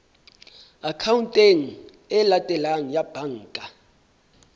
akhaonteng e latelang ya banka